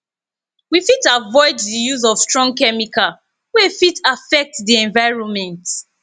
we fit avoid di use of strong chemical wey fit affect di environment